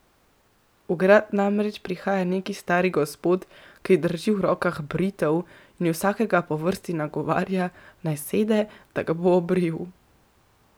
V grad namreč prihaja neki stari gospod, ki drži v rokah britev in vsakega po vrsti nagovarja, naj sede, da ga bo obril.